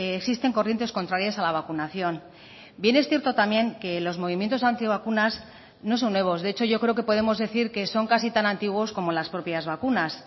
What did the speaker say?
existen corrientes contrarias a la vacunación bien es cierto también que los movimientos antivacunas no son nuevos de hecho yo creo que podemos decir que son casi tan antiguos como las propias vacunas